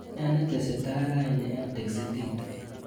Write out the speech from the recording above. Ne netesetai raini eng prexitit